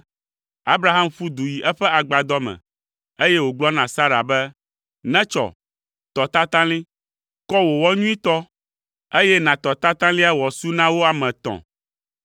Abraham ƒu du yi eƒe agbadɔ me, eye wògblɔ na Sara be, “Netsɔ! Tɔ tatalĩ! Kɔ wò wɔ nyuitɔ, eye nàtɔ tatalia wòasu na wo ame etɔ̃!”